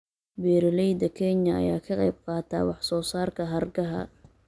Beeralayda Kenya ayaa ka qayb qaata wax soo saarka hargaha.